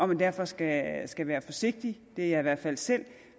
man derfor skal skal være forsigtig det er jeg i hvert fald selv